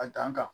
A dan kan